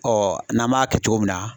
n'an m'a kɛ cogo min na.